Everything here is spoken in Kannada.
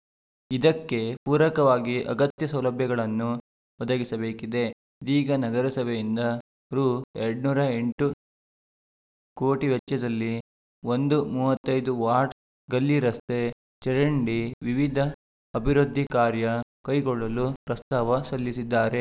ಇದಕ್ಕೆ ಪೂರಕವಾಗಿ ಅಗತ್ಯ ಸೌಲಭ್ಯಗಳನ್ನು ಒದಗಿಸಿಬೇಕಿದೆ ಇದೀಗ ನಗರಸಭೆಯಿಂದ ರು ಇನ್ನೂರ ಎಂಟು ಕೋಟಿ ವೆಚ್ಚದಲ್ಲಿ ಒಂದು ಮೂವತ್ತ್ ಐದು ವಾರ್ಡ್‌ಗಲ್ಲಿ ರಸ್ತೆ ಚರಂಡಿ ವಿವಿಧ ಅಭಿವೃದ್ಧಿ ಕಾರ್ಯ ಕೈಗೊಳ್ಳಲು ಪ್ರಸ್ತಾವ ಸಲ್ಲಿಸಿದ್ದಾರೆ